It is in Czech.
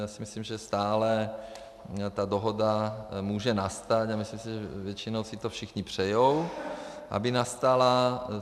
Já si myslím, že stále ta dohoda může nastat, a myslím si, že většinou si to všichni přejí, aby nastala.